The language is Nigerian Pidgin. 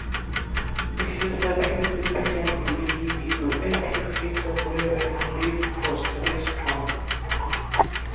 if you sabi wetin patient dey believe e go help you fit talk well and build trust wey strong.